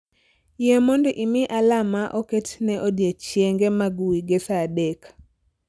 yie mondo imi alarm ma oket ne odiechienge mag wige saa adek